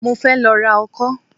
Mo fẹ́ lọ ra ọkọ́